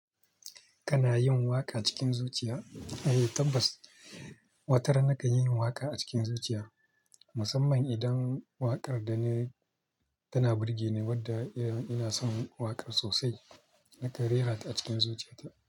Kana yin waƙa cikin zuciya? Eh, tabbas. Watar na kan yi waƙa a cikin zuciya. Musamman idan waƙar da nayi tana burge ni wadda ina son waƙar sosai. Naka rerata a cikin zuciyata.